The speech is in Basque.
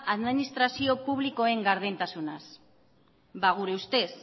administrazio publikoen gardentasunaz ba gure ustez